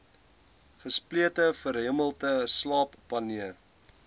gesplete verhemelte slaapapnee